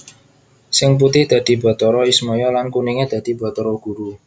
Sing putih dadi Bathara Ismaya lan kuninge dadi Bathara Guru